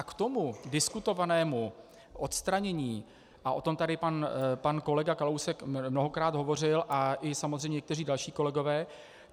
A k tomu diskutovanému odstranění - a o tom tady pan kolega Kalousek mnohokrát hovořil a i samozřejmě někteří další kolegové.